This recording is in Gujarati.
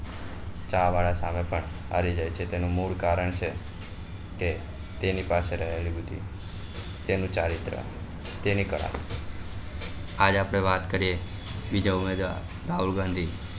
ચા વાળા સામે પણ હારી જાય છે તેનું મૂળ કારણ છે કે તેની પાસે રહેલી બુદ્ધિ તેનું ચરિત્ર તેની કળા આજ આપડે વાત કરીએ બીજા ઉમેદવાર રાહુલ ગાંધી